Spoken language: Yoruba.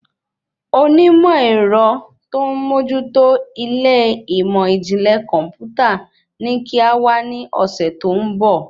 Onímọ̀ èrọ tó n mójú tó ilé ìmọ ijinlẹ kọmputa ní kí á wá ní ọsẹ tó ń bọ̀